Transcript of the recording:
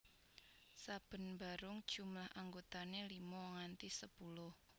Saben barung jumlah anggotane limo nganti sepuluh